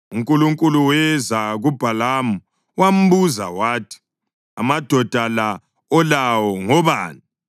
UNkulunkulu weza kuBhalamu wambuza wathi, “Amadoda la olawo ngobani?”